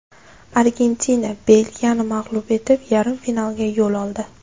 Argentina Belgiyani mag‘lub etib, yarim finalga yo‘l oldi.